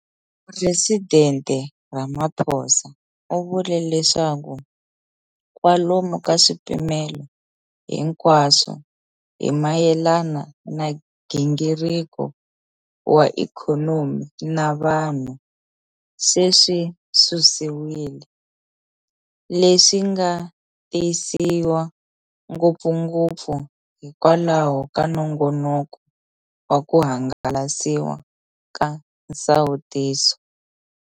Presidente Ramaphosa u vule leswaku kwalomu ka swipimelo hinkwaswo hi mayelana na nghingiriko wa ikhonomi na vanhu se swi susiwile, leswi nga tisiwa ngopfungopfu hikwalaho ka nongonoko wa ku hangalasiwa ka nsawutiso.